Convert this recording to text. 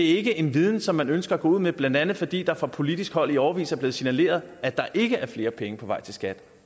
ikke en viden som man ønsker at gå ud med blandt andet fordi det fra politisk hold i årevis er blevet signaleret at der ikke er flere penge på vej til skat